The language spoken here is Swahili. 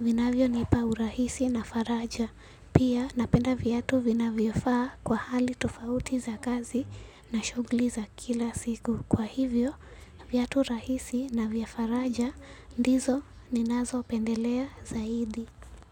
Vinavyonipa urahisi na faraja. Pia napenda viatu vinavyofaa kwa hali tofauti za kazi na shughuli za kila siku. Kwa hivyo, viatu rahisi na vya faraja ndizo ninazopendelea zaidi.